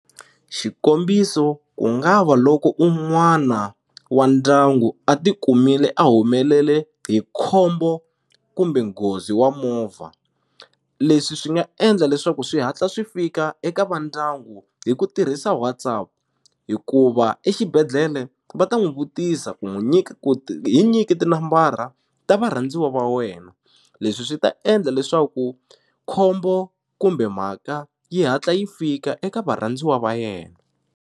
Xikombiso ku nga va loko un'wana wa ndyangu a ti kumile a humelele hi khombo kumbe nghozi wa movha leswi swi nga endla leswaku swi hatla swi fika eka va ndyangu hi ku tirhisa WhatsApp hikuva exibedhlele va ta n'wi vutisa ku n'wi nyika ku ti hi nyiki tinambara ta varhandziwa va wena leswi swi ta endla leswaku khombo kumbe mhaka yi hatla yi fika eka varhandziwa va yena.